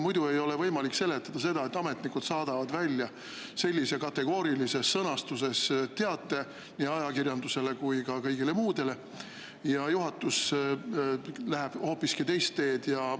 Muidu ei ole võimalik seletada seda, et ametnikud saadavad välja sellise kategoorilises sõnastuses teate nii ajakirjandusele kui ka kõigile, aga juhatus läheb hoopiski teist teed.